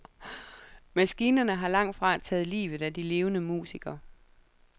Maskinerne har langt fra taget livet af de levende musikere.